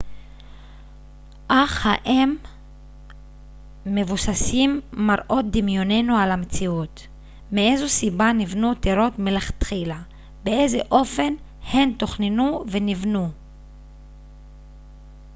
אך האם מבוססים מראות דמיוננו על המציאות מאיזו סיבה נבנו טירות מלכתחילה באיזה אופן הן תוכננו ונבנו